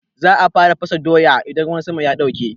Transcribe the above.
Za a fara fasa doya idan ruwan sama ya ɗauke.